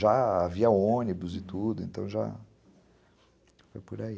Já havia ônibus e tudo, então já foi por aí.